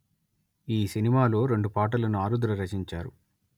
ఈ సినిమాలో రెండు పాటలను ఆరుద్ర రచించారు